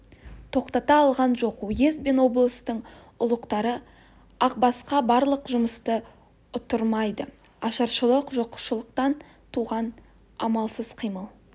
тоқтата алған жоқ уезд бен облыстың ұлықтары ақбасқа барлық жұмысты ұттырмады ашаршылық жоқшылықтан туған амалсыз қимыл